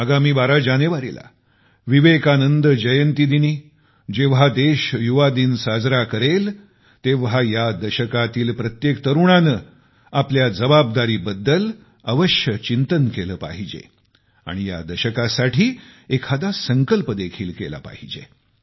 येत्या 12 जानेवारीला विवेकानंद जयंती दिनी जेव्हा देश युवा दिन साजरा करेल तेव्हा या दशकातील प्रत्येक तरुणाने आपल्या या जबाबदारीवर चिंतन केले पाहिजे आणि या दशकासाठी एखादा संकल्प देखील केला पाहिजे